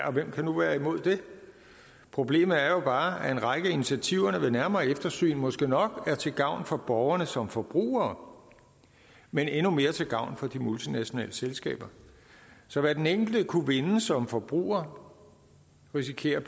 og hvem kan nu være imod det problemet er jo bare at en række af initiativerne ved nærmere eftersyn måske nok er til gavn for borgerne som forbrugere men endnu mere til gavn for de multinationale selskaber så hvad den enkelte kunne vinde som forbruger risikerer